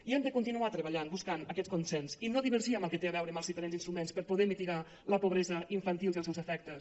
i hem de continuar treballant buscant aquest consens i no divergir amb el que té a veure amb els diferents instruments per poder mitigar la pobresa infantil i els seus efectes